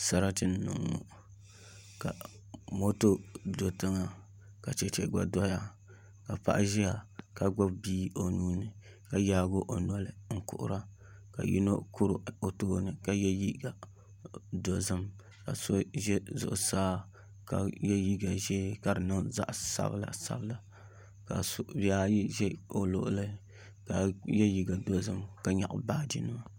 Sarati n niŋ ŋo ka moto do tiŋa ka chɛchɛ gba doya ka paɣa ʒiya ka gbubi bia o nuuni ka yaagi o noli n kuhura ka yino kuri o tooni ka yɛ liiga dozim ka so ʒɛ zuɣusaa ka yɛ liiga dozim ka di niŋ zaɣ sabila sabila ka shikuru bihi ayi ʒɛ o luɣuli ka yɛ liiga dozim ka nyaɣa baaji sabila sabila